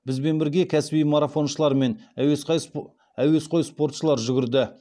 бізбен бірге кәсіби марафоншылар мен әуесқой спортшылар жүгірді